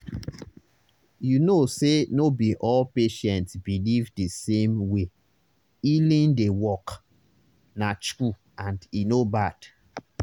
you know say no be all patients believe the same way healing dey work—na true and e no bad.